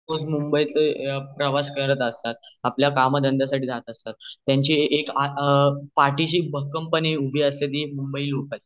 लोक रोज मुंबईत प्रवास करत असतात आपल्या काम धंद्यासाठी जात असतात त्यांची आ पाठीशी भक्कम पणे उभी असते ती मुंबई लोकल